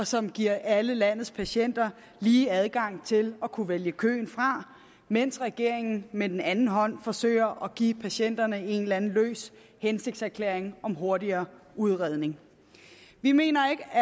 som giver alle landets patienter lige adgang til at kunne vælge køen fra mens regeringen med den anden hånd forsøger at give patienterne en eller anden løs hensigtserklæring om hurtigere udredning vi mener